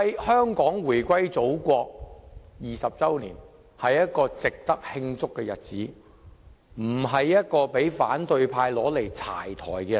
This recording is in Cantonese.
香港回歸祖國20周年是值得慶祝的日子，而不是讓反對派"柴台"的日子。